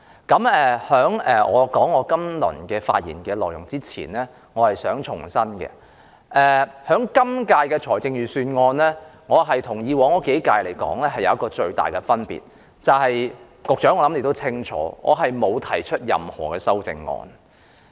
在開始發言前，我想重申，對於今年的財政預算案，我的處理方法有別於以往數年，其中一個最大的分別是我沒有提出修正案。